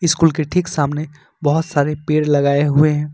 School के ठीक सामने बहुत सारे पेड़ लगाए हुए हैं।